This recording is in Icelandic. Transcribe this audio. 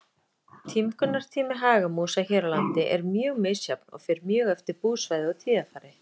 Tímgunartími hagamúsa hér á landi er mjög misjafn og fer mjög eftir búsvæði og tíðarfari.